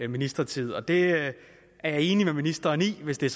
ministertid og det er jeg enig med ministeren i hvis det er